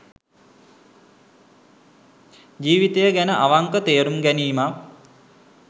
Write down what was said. ජීවිතය ගැන අවංක තේරුම් ගැනීමක්